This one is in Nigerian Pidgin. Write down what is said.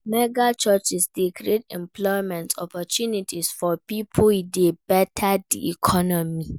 Mega churches de create employment opportunity for pipo e de better di economy